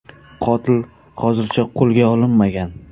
Qotil hozircha qo‘lga olinmagan.